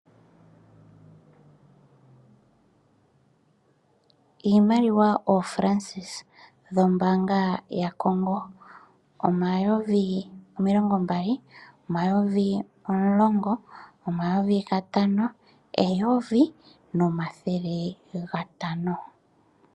Iimaliwa ooFrancs yombaanga yaCongo. Omayovi omilongombali, omayovi omulongo, omayovi gatano, eyovi nomathele gatano.